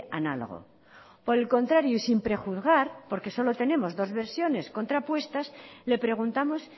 análogo por el contrario y sin prejuzgar porque solo tenemos dos versiones contrapuestas le preguntamos